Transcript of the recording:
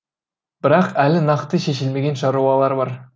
бірақ әлі нақты шешілмеген шаруалар бар